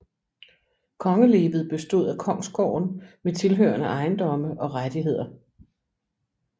Kongelevet bestod af kongsgårde med tilhørende ejendomme og rettigheder